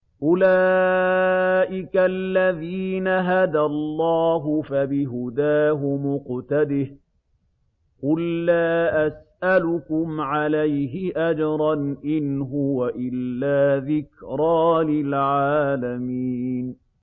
أُولَٰئِكَ الَّذِينَ هَدَى اللَّهُ ۖ فَبِهُدَاهُمُ اقْتَدِهْ ۗ قُل لَّا أَسْأَلُكُمْ عَلَيْهِ أَجْرًا ۖ إِنْ هُوَ إِلَّا ذِكْرَىٰ لِلْعَالَمِينَ